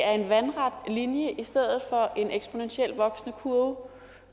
er en vandret linje i stedet for en eksponentielt voksende kurve